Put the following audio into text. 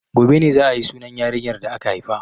Gobe ne za a yi sunan yarinyar da aka haifa.